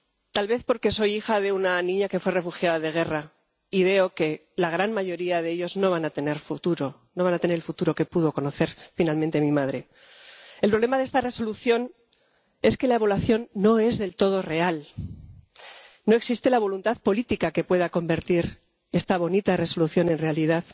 tal vez porque soy hija de una niña que fue refugiada de guerra y veo que la gran mayoría de ellos no van a tener futuro, no van a tener el futuro que pudo conocer finalmente mi madre. El problema de esta Resolución es que la evaluación no es del todo real no existe la voluntad política que pueda convertir esta bonita Resolución en realidad.